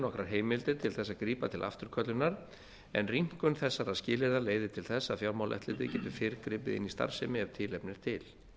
nokkrar heimildir til að grípa til afturköllunar en rýmkun þessara skilyrða leiðir til þess að fjármálaeftirlitið getur fyrr gripið inn í starfsemi ef tilefni er til